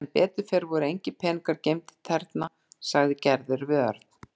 Sem betur fer voru engir peningar geymdir þarna sagði Gerður við Örn.